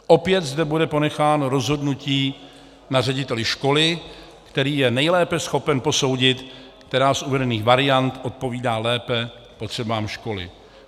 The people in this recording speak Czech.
Opět zde bude ponecháno rozhodnutí na řediteli školy, který je nejlépe schopen posoudit, která z uvedených variant odpovídá lépe potřebám školy.